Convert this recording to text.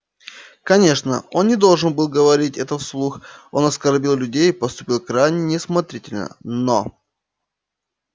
конечно он не должен был говорить этого вслух он оскорбил людей поступил крайне неосмотрительно но